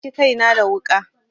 Na yanki kaina da wuƙa.